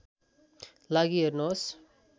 लागि हेर्नुहोस्